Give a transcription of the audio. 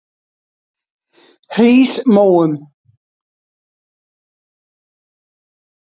Hrísmóum